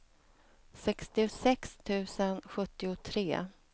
sextiosex tusen sjuttiotre